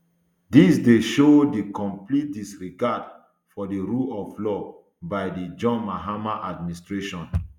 dis dey show di complete disregard for di rule of law by di john mahama administration